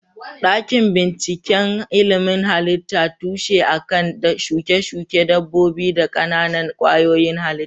Dakin bincikan ilimin halitta tushe a kan shuke-shuke dabbobi da ƙananan kwayoyin halitta.